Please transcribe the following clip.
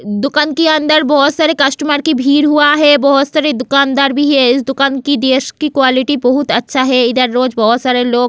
दुकान के अंदर बहुत सारे कस्टमर की भीड़ हुआ है बहुत सारे दुकानदार भी है इस दुकान की देश की क्वालिटी बहुत अच्छा है इधर रोज बहुत सारे लोग --